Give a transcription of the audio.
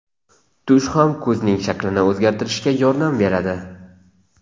Tush ham ko‘zning shaklini o‘zgartirishga yordam beradi.